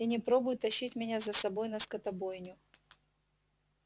и не пробуй тащить меня за собой на скотобойню